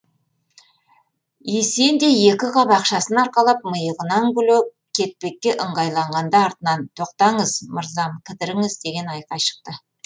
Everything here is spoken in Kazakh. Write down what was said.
есен де екі қап ақшасын арқалап миығынан күле кетпекке ыңғайланғанда артынан тоқтаңыз мырзам кідіріңіз деген айқай шықты